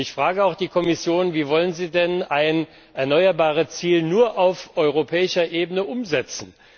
Ich frage auch die Kommission Wie wollen Sie denn ein Erneuerbare Ziel nur auf europäischer Ebene umsetzen?